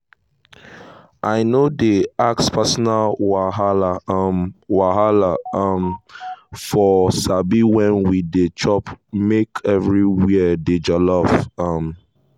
i no dey ask personal wahala um wahala um for sabi when we dey chop make everywhere dey jolly. um